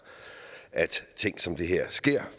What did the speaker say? ting som det her sker